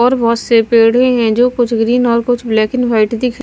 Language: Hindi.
और बहुत से पेड़े हैं जो कुछ ग्रीन और कुछ ब्लैक एंड वाइट दिख--